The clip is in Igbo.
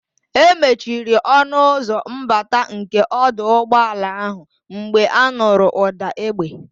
E mechiri ọnụ ụzọ mbata nke ọdụ ụgbọala ahụ mgbe anụrụ ụ̀dà égbè.